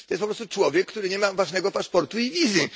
To jest po prostu człowiek, który nie ma ważnego paszportu i wizy.